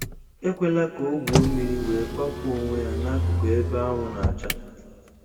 Ekwela ka ọ gwuo mmiri wee kwapụ onwe ya n'akụkụ ebe anwụ na-acha.